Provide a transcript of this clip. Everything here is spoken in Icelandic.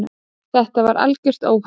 Þetta var algjört óhapp.